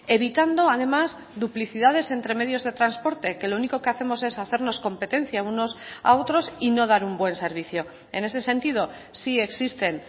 evitando además duplicidades entre medios de transporte que lo único que hacemos es hacernos competencia unos a otros y no dar un buen servicio en ese sentido sí existen